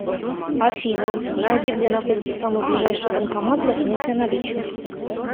афина найди где находится самый ближайший банкомат для снятия наличных